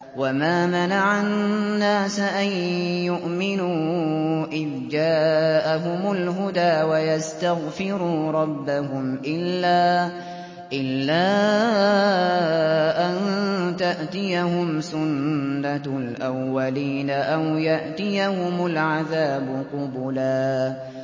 وَمَا مَنَعَ النَّاسَ أَن يُؤْمِنُوا إِذْ جَاءَهُمُ الْهُدَىٰ وَيَسْتَغْفِرُوا رَبَّهُمْ إِلَّا أَن تَأْتِيَهُمْ سُنَّةُ الْأَوَّلِينَ أَوْ يَأْتِيَهُمُ الْعَذَابُ قُبُلًا